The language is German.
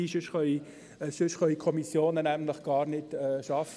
Denn sonst können die Kommissionen nämlich gar nicht arbeiten.